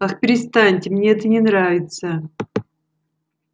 ах перестаньте мне это не нравится